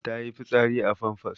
Ta yi fitsari a famfas.